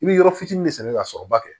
I bɛ yɔrɔ fitinin de sɛbɛ ka sɔrɔ ba kɛ